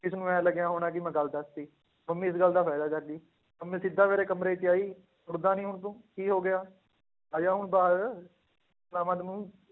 ਇਸਨੂੰ ਇਉਂ ਲੱਗਿਆ ਹੋਣਾ ਕਿ ਮੈਂ ਗੱਲ ਦੱਸ ਦਿੱਤੀ, ਮੰਮੀ ਇਸ ਗੱਲ ਦਾ ਫ਼ਾਇਦਾ ਚੱਕ ਗਈ, ਮੰਮੀ ਸਿੱਧਾ ਮੇਰੇ ਕਮਰੇ 'ਚ ਆਈ ਉੱਠਦਾ ਨੀ ਹੁਣ ਤੂੰ ਕੀ ਹੋ ਗਿਆ, ਆ ਜਾ ਹੁਣ ਬਾਹਰ ਪਿਲਾਵਾਂ ਤੈਨੂੰ,